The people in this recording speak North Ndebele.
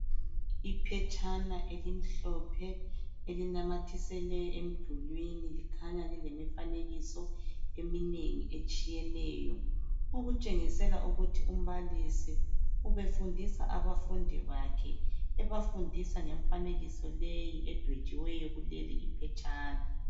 Iphetshana elimhlophe, elinamathiselwe emdulwini. Likhanya lilemifanekiso eminengi etshiyeneyo. Okutshengisela ukuthi umbalisi, ubefundisa abafundi bakhe. Ebafundisa ngemifanekiso leyi, edwetshiweyo kuleliphetshana.